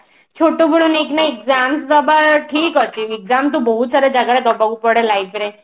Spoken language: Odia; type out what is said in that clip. ଛୋଟବେଳୁ ନେଇକି ନା exam ଦବା ଠିକ ଅଛି exam ତ ବହୁତ ସାରା ଜାଗାରେ ଦବାକୁ ପଡେ life ରେ